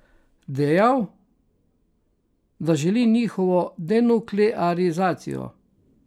Dejal, da želi njihovo denuklearizacijo.